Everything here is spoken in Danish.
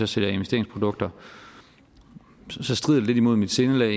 sælger investeringsprodukter strider det lidt mod mit sindelag